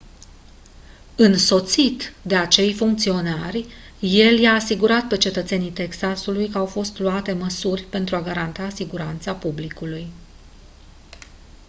însoțit de acei funcționari el i-a asigurat pe cetățenii texasului că au fost luate măsuri pentru a garanta siguranța publicului